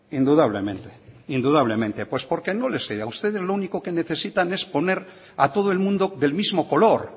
indudablemente indudablemente pues porque no les a ustedes lo único que necesitan es poner a todo el mundo del mismo color